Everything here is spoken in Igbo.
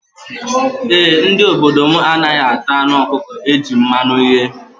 E, ndị obodo m anaghị ata anụ ọkụkọ e ji mmanụ ghee.